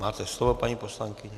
Máte slovo, paní poslankyně.